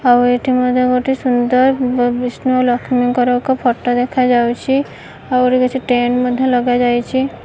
ଆଉ ଏଠି ମଧ୍ୟ ଗୋଟେ ସୁନ୍ଦର ବିଷ୍ଣୁ ଲଷ୍ମୀଙ୍କର ଏକ ଫଟ ଦେଖାଯାଉଛି ଆଉ ଏଠି କିଛି ଟେଣ୍ଡ ମଧ୍ୟ ଲଗାଯାଇଛି।